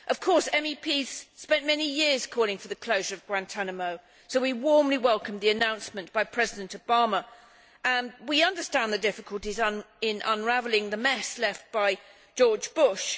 Of course, MEPs spent many years calling for the closure of Guantánamo, so we warmly welcome the announcement by President Obama and we understand the difficulties in unravelling the mess left by George Bush.